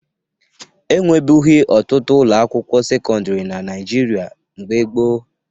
E nwebughi ọtụtụ ụlọakwụkwọ sekọndịrị na Naịjirịa mgbe gboo